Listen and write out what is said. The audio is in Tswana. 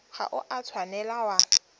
ga o a tshwanela wa